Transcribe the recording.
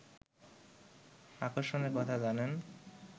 আকর্ষণের কথা জানেন